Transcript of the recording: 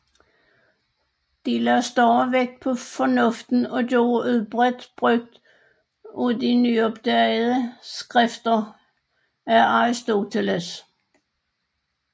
De lagde større vægt på fornuften og gjorde udbredt brugt af de nyopdagede skrifter a Arisoteles